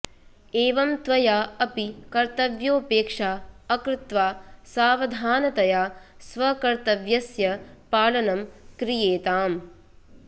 एवं त्वया अपि कर्तव्योपेक्षा अकृत्वा सावधानतया स्वकर्तव्यस्य पालनं क्रियेताम्